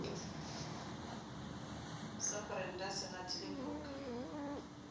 sa brenda se gatile phoka